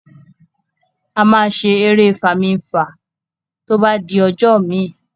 Ama ṣe èrè Fami-nfa to bá di ojó mí